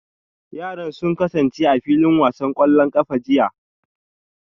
Yaran sun kasance a filin wasan kwallon kafa a jiya